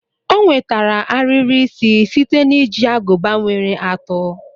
O nwetara ariri isi site na iji aguba nwere atụ